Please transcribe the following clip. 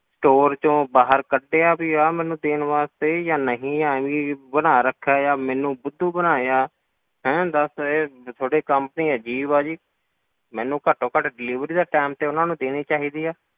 Store ਵਿੱਚੋਂ ਬਾਹਰ ਕੱਢਿਆ ਵੀ ਆ ਮੈਨੂੰ ਦੇਣ ਵਾਸਤੇ ਜਾਂ ਨਹੀਂ ਐਵੇਂ ਬਣਾ ਰੱਖਿਆ ਆ ਮੈਨੂੰ ਬੁੱਧੂ ਬਣਾਇਆ, ਹੈਂ ਦੱਸ ਇਹ ਤੁਹਾਡੀ company ਅਜ਼ੀਬ ਆ ਜੀ, ਮੈਨੂੰ ਘੱਟੋ ਘੱਟੇ delivery ਦਾ time ਤਾਂ ਉਹਨਾਂ ਨੂੰ ਦੇਣੀ ਚਾਹੀਦੀ ਆ,